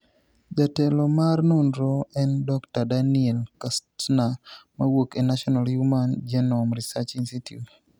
Jatelo mar nonrono en Dr. Daniel Kastner mawuok e National Human Genome Research Institute.